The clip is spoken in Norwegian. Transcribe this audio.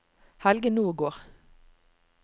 Helge Nordgård